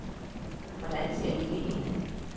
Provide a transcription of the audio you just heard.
Hvordan skal det ikke ende.